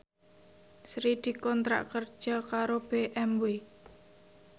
Sri dikontrak kerja karo BMW